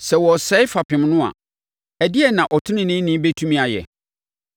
Sɛ wɔresɛe fapem no a, ɛdeɛn na ɔteneneeni bɛtumi ayɛ?”